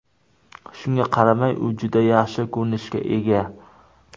Shunga qaramay, u juda yaxshi ko‘rinishga ega.